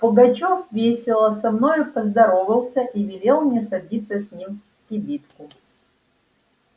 пугачёв весело со мною поздоровался и велел мне садиться с ним в кибитку